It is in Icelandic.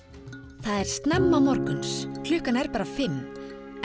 það er snemma morgunn klukkan er bara fimm en